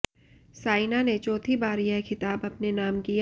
साइना ने चाैथी बार यह खिताब अपने नाम किया